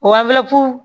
O